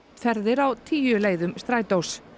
ferðir á tíu leiðum Strætós